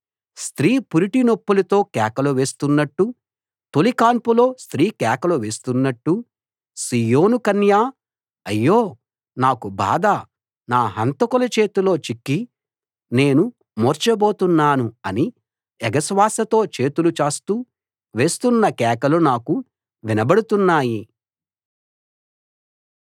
స్త్రీ పురిటినొప్పులతో కేకలు వేస్తున్నట్టు తొలి కాన్పులో స్త్రీ కేకలు వేస్తున్నట్టు సీయోను కన్య అయ్యో నాకు బాధ నా హంతకుల చేతిలో చిక్కి నేను మూర్చబోతున్నాను అని ఎగశ్వాసతో చేతులు చాస్తూ వేస్తున్న కేకలు నాకు వినబడుతున్నాయి